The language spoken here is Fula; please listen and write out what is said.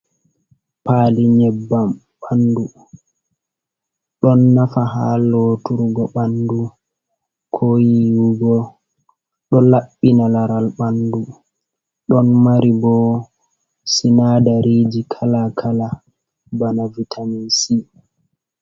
Paali nyebbam ɓandu ɗon nafa ha loturgo ɓandu, ko yiwugo ɗon laɓɓina laral ɓandu, ɗon mari bo sinadariji kala kala bana vitamise.